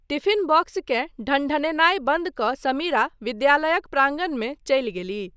Tiffin बॉक्सकेँ ढनढेनाय बन्द कऽ समीरा विद्यालयक प्रांगण मे चलि गेलीह।